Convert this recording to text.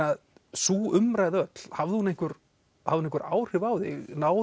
sú umræða öll hafði hún einhver hún einhver áhrif á þig náðu